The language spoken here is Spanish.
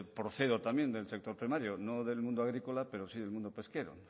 procedo también del sector primario no del mundo agrícola pero sí del mundo pesquero